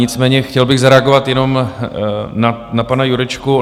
Nicméně chtěl bych zareagovat jenom na pana Jurečku.